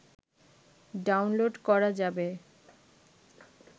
download করা যাবে